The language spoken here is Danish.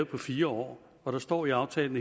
på fire år og der står i aftalen